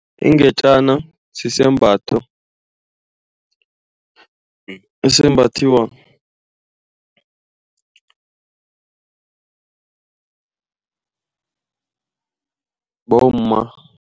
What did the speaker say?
Ingetjana sisembatho esimbathiwa bomma.